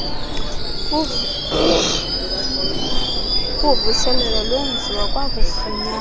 uvuselelo lwenziwa kwakufunyanwa